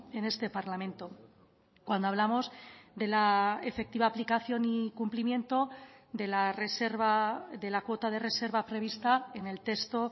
en este parlamento cuando hablamos de la efectiva aplicación y cumplimiento de la reserva de la cuota de reserva prevista en el texto